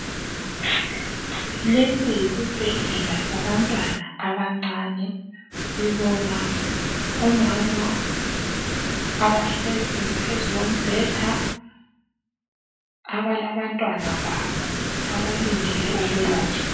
Lesi yisibhedlela sabantwana abancane. Sibona omama, abahlezi phezu kombheda. Abalabantwana babo, abalindele ukwelatshwa.